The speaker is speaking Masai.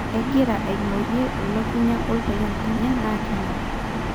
Egira aingorie elukunya opayian lenye na nengor.